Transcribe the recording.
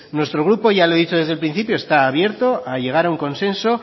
nuestro grupo ya lo he dicho desde el principio está abierto a llegar a un consenso